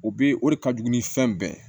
O be o de ka jugu ni fɛn bɛɛ ye